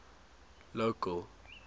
local